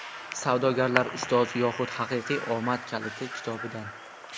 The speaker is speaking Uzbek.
"Savdogarlar ustozi yoxud haqiqiy omad kaliti" kitobidan.